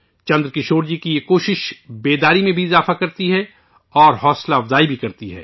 چندرکشور جی کی یہ کوشش بیداری میں بھی اضافہ کرتی ہے اور تحریک بھی دیتی ہے